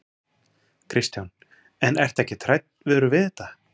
Kristján: En ertu ekkert hræddur við þetta?